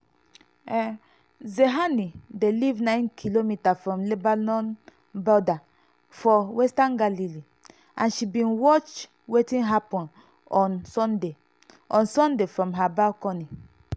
zehani dey live 9km from lebanon border for western galilee and she bin watch wetin happun on sunday on sunday from her balcony.